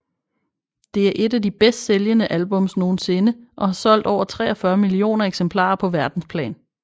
Det er et af de bedst sælgende albums nogensinde og har solgt over 43 millioner eksemplarer på verdensplan